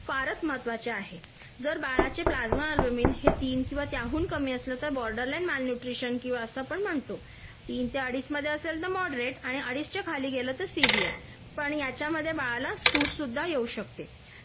फारच महत्वाचे आहे जर बाळाचे प्लाजमा अल्बमिन हे तीन किंवा त्याहून कमी असलं तर बॉर्डर लाईन माल न्यूट्रिशन असं पण म्हणतो तीन ते अडीच मध्ये असेल तर मॉडरेट आणि अडीच च्या खाली गेलं तर सिवियर पण याच्यामध्ये बाळाला सूज सुद्धा येऊ शकते